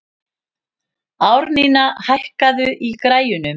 Árnína, hækkaðu í græjunum.